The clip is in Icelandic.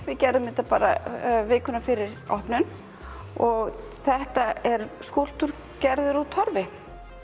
við gerðum þetta bara vikuna fyrir opnun og þetta er skúlptúr gerður úr Torfi